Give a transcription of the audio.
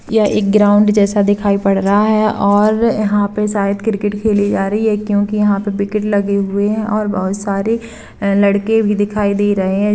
यह एक ग्राउन्ड जैसा दिखाई पड़ रहा है और यहाँ पर शायद क्रिकेट खेली जा रही है क्योकि यहाँ पर विकेट लगे हुए है और बहुत सारे लड़के भी दिखाई दे रहें है।